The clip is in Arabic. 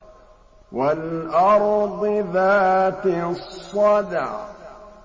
وَالْأَرْضِ ذَاتِ الصَّدْعِ